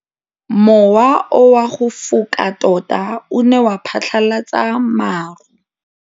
Mowa o wa go foka tota o ne wa phatlalatsa maru.